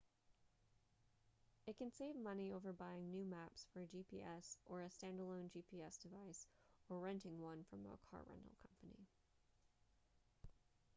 it can save money over buying new maps for a gps or a standalone gps device or renting one from a car rental company